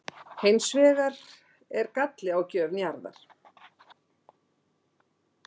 Hér er hins vegar galli á gjöf Njarðar.